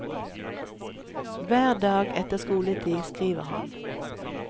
Hver dag etter skoletid skriver han.